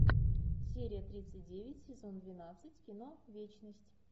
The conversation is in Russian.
серия тридцать девять сезон двенадцать кино вечность